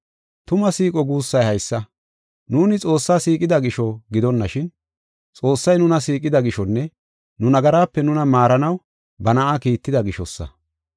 Tuma siiqo guussay haysa: nuuni Xoossaa siiqida gisho gidonashin, Xoossay nuna siiqida gishonne nu nagaraape nuna maaranaw ba Na7aa kiitida gishosa.